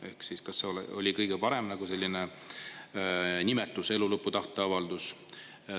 Ehk siis kas see oli kõige parem selline nimetus "elu lõpu tahteavaldus"?